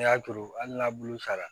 N'i y'a turu hali n'a bulu sara